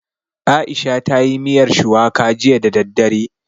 Aisha ta yi miyar shuwaka jiya da daddare